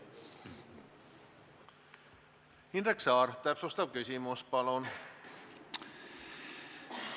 Indrek Saar, täpsustav küsimus, palun!